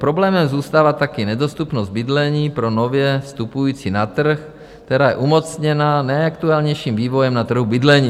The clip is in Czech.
Problémem zůstává taky nedostupnost bydlení pro nově vstupující na trh, která je umocněna nejaktuálnějším vývojem na trhu bydlení.